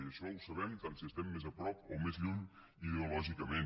i això ho sabem tant si estem més a prop o més lluny ideològicament